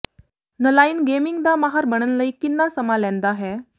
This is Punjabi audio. ਨਲਾਈਨ ਗੇਮਿੰਗ ਦਾ ਮਾਹਰ ਬਣਨ ਲਈ ਕਿੰਨਾ ਸਮਾਂ ਲੈਂਦਾ ਹੈ